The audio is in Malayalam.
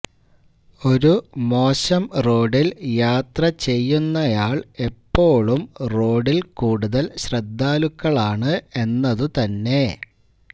ഒരു മോശം റോഡിൽ യാത്ര ചെയ്യുന്നയാൾ എപ്പോഴും റോഡിൽ കൂടുതൽ ശ്രദ്ധാലുക്കളാണ് എന്നതുതന്നെ